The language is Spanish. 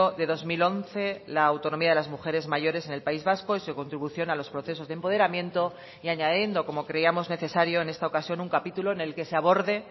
de dos mil once la autonomía de las mujeres mayores en el país vasco y su contribución a los procesos de empoderamiento y añadiendo como creíamos necesario en esta ocasión un capítulo en el que se aborde